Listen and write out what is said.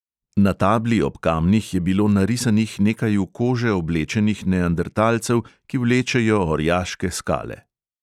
Na tabli ob kamnih je bilo narisanih nekaj v kože oblečenih neandertalcev, ki vlečejo orjaške skale.